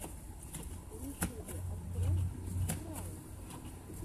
в ютюбе открой кралекс